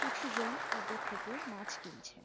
কিছু জন ওদের থেকে মাছ কিনছে।